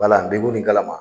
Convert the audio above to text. Wala ni kalama.